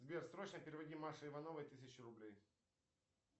сбер срочно переводи маше ивановой тысячу рублей